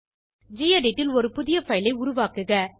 gedit ல் ஒரு புதிய பைல் ஐ உருவாக்குக